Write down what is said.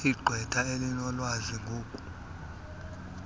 igqwetha elinolwazi ngoku